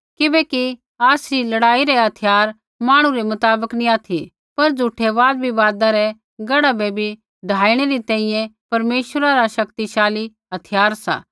किबैकि आसरी लड़ाई रै हथियार मांहणु रै मुताबक नी ऑथि पर झ़ूठै वादविवादा रै गढ़ा बै भी ढाईणै री तैंईंयैं परमेश्वरा रा शक्तिशाली हथियार सा